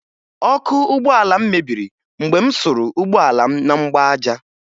Ọkụ ụgbọala m mebiri mgbe m suru ụgbọala m na mgbaaja